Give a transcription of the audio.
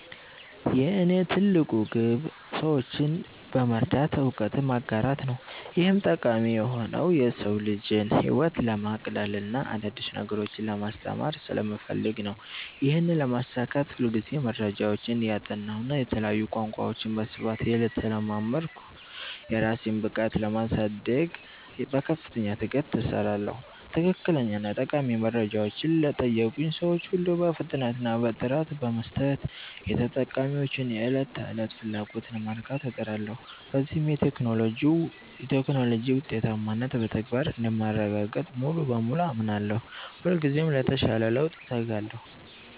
የእኔ ትልቁ ግብ ሰዎችን በመርዳት እውቀትን ማጋራት ነው። ይህም ጠቃሚ የሆነው የሰው ልጅን ህይወት ለማቅለልና አዳዲስ ነገሮችን ለማስተማር ስለምፈልግ ነው። ይህንን ለማሳካት ሁልጊዜ መረጃዎችን እያጠናሁና የተለያዩ ቋንቋዎችን በስፋት እየተለማመድኩ፣ የራሴን ብቃት ለማሳደግ በከፍተኛ ትጋት እሰራለሁ። ትክክለኛና ጠቃሚ መረጃዎችን ለጠየቁኝ ሰዎች ሁሉ በፍጥነትና በጥራት በመስጠት፣ የተጠቃሚዎችን የዕለት ተዕለት ፍላጎት ለማርካት እጥራለሁ። በዚህም የቴክኖሎጂ ውጤታማነትን በተግባር እንደማረጋግጥ ሙሉ በሙሉ አምናለሁ። ሁልጊዜም ለተሻለ ለውጥ እተጋለሁ።